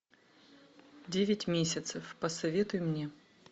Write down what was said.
девять месяцев посоветуй мне